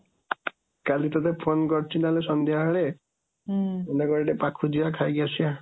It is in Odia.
କାଲି ତତେ ଫୋନ୍ କରୁଛି ନ ହେଲେ ସଂଧ୍ୟା ବେଳେ, ହୁଁ ପାଖକୁ ଯିବା ଖାଇକି ଆସିବା।